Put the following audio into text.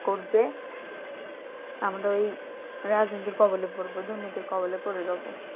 help করবে আমাদের ওই রাজনীতির কবলে পড়ব দুর্নীতির কবলে পড়ে যাবো।